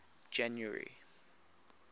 january